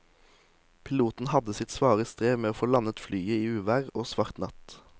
Piloten hadde sitt svare strev med å få landet flyet i uvær og svart natt.